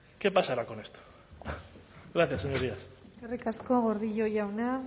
qué pasará con esto gracias señorías eskerrik asko gordillo jauna